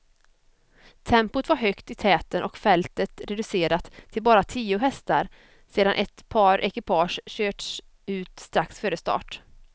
Tempot var högt i täten och fältet reducerat till bara tio hästar sedan ett par ekipage körts ut strax före start.